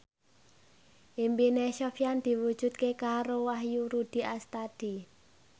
impine Sofyan diwujudke karo Wahyu Rudi Astadi